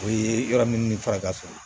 O ye yɔrɔ min ni faka